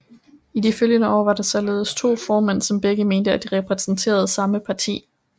I de følgende år var der således to formænd som begge mente at de repræsenterede samme parti